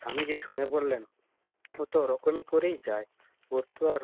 স্বামীজি শুনে বললেন কত রকমে করেই যায় ওর তো আর